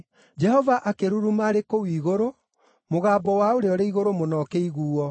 Jehova akĩruruma arĩ kũu igũrũ; mũgambo wa Ũrĩa-ũrĩ-Igũrũ-Mũno, ũkĩiguuo.